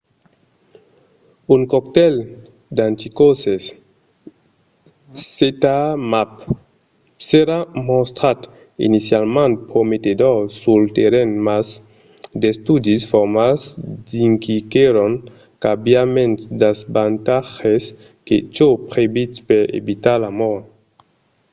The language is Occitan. un coctèl d'anticòrses zmapp s'èra mostrat inicialament prometedor sul terrenh mas d'estudis formals indiquèron qu'aviá mens d'avantatges que çò previst per evitar la mòrt